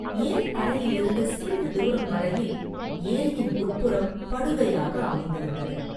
ஏரிக்கரையிலிருந்து சிறிது தூரம் வரையில் ஏரியின் உட்புறம் படுகையாக அமைந்திருந்தது.